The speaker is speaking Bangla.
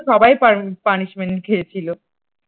সবাই পানি punishment খেয়েছিল।